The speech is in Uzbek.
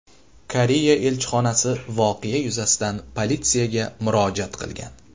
Koreya elchixonasi voqea yuzasidan politsiyaga murojaat qilgan.